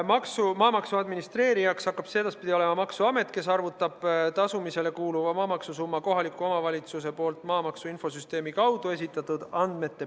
Maksumaamaksu administreerijaks hakkab edaspidi olema maksuamet, kes arvutab tasumisele kuuluva maamaksu summa nende andmete põhjal, mille kohalik omavalitsus on maamaksu infosüsteemi kaudu esitanud.